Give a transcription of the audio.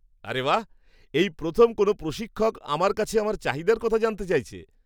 আরে বাহ্! এই প্রথম কোনও প্রশিক্ষক আমার কাছে আমার চাহিদার কথা জানতে চাইছে!